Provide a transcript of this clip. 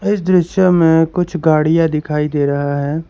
इस दृश्य में कुछ गाड़ियां दिखाई दे रहा है।